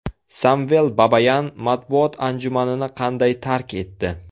Samvel Babayan matbuot anjumanini qanday tark etdi?